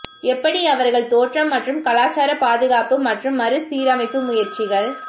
எப்படி அவர்கள் தோற்றம் மற்றும் கலாச்சார பாதுகாப்பு மற்றும் மறுசீரமைப்பு முயற்சிகள்